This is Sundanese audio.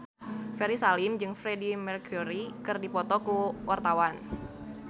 Ferry Salim jeung Freedie Mercury keur dipoto ku wartawan